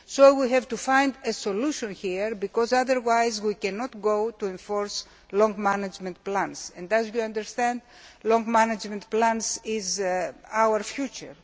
We have to find a solution here, because otherwise we cannot go on to enforce long management plans and, as you will understand, long management plans are our future.